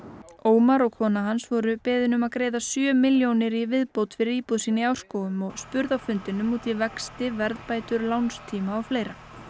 Ómar og kona hans voru beðin um að greiða sjö milljónir í viðbót fyrir íbúð sína í Árskógum og spurðu á fundinum út í vexti verðbætur lánstíma og fleira